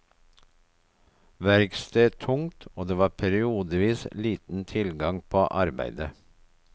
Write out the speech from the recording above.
Verksted tungt, og det var periodevis liten tilgang på arbeide.